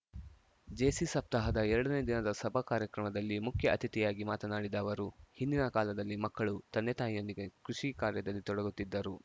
JC ಸಪ್ತಾಹದ ಎರಡನೇ ದಿನದ ಸಭಾ ಕಾರ್ಯಕ್ರಮದಲ್ಲಿ ಮುಖ್ಯ ಅತಿಥಿಯಾಗಿ ಮಾತನಾಡಿದ ಅವರು ಹಿಂದಿನ ಕಾಲದಲ್ಲಿ ಮಕ್ಕಳು ತಂದೆ ತಾಯಿಯೊಂದಿಗೆ ಕೃಷಿ ಕಾರ್ಯದಲ್ಲಿ ತೊಡಗುತ್ತಿದ್ದರು